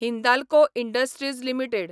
Hindalco industries limited